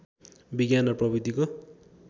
विज्ञान र प्रविधिको